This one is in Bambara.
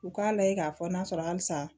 U k'a layɛ k'a fɔ n'a sɔrɔ halisa